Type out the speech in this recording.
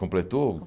Completou?